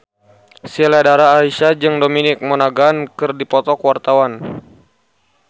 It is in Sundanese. Sheila Dara Aisha jeung Dominic Monaghan keur dipoto ku wartawan